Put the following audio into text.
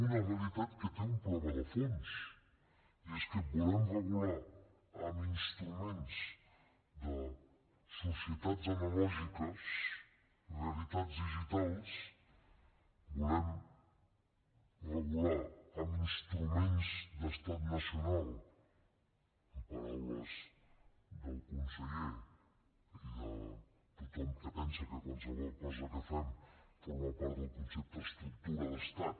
una realitat que té un problema de fons i és que volem regular amb instruments de societats analògiques realitats digitals volem regular amb instruments d’estat nacional en paraules del conseller i de tothom que pensa que qualsevol cosa que fem forma part del concepte estructura d’estat